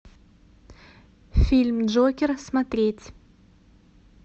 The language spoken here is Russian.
фильм джокер смотреть